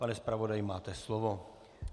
Pane zpravodaji, máte slovo.